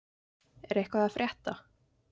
Er eitthvað að frétta?